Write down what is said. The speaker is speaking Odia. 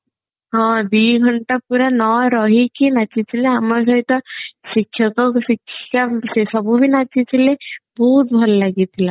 ହଁ ଦିଘଣ୍ଟା ପୁରା ନ ରହିକି ନାଚୁଥିଲେ ଆମ ସହିତ ଶିକ୍ଷକ ସେସବୁ ବି ନାଚିଥିଲେ ବହୁତ ଭଲ ଲାଗି ଥିଲା